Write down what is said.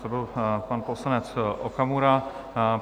To byl pan poslanec Okamura.